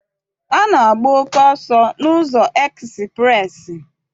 A na-agba oke ọsọ n'ụzọ ekspreesị.